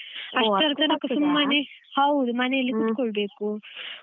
ಹೌದು ಮನೆಯಲ್ಲಿ ಕೂತ್ಕೊಳ್ಬೇಕು.